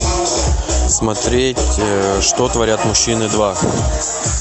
смотреть что творят мужчины два